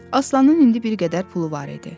Aslanın indi bir qədər pulu var idi.